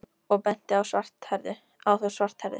sagði hann og benti á þá svarthærðu.